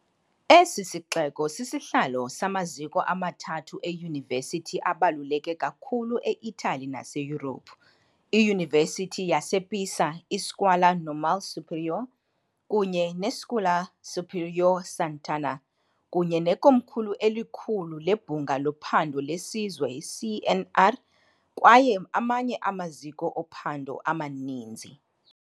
Esi sixeko sisihlalo samaziko amathathu eyunivesithi abaluleke kakhulu e-Itali naseYurophu, iYunivesithi yasePisa, iScuola Normale Superiore kunye neScuola Superiore Sant'Anna, kunye nekomkhulu elikhulu leBhunga loPhando leSizwe i-CNR kwaye amanye amaziko ophando amaninzi.